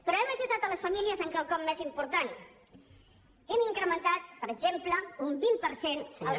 però hem ajudat les famílies en quelcom més important hem incrementat per exemple un vint per cent els